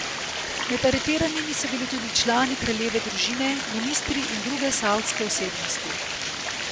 Med aretiranimi so bili tudi člani kraljeve družine, ministri in druge savdske osebnosti.